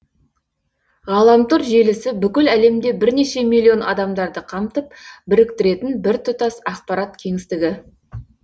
ғаламтор желісі бүкіл әлемде бірнеше миллион адамдарды қамтып біріктіретін біртұтас ақпарат кеңістігі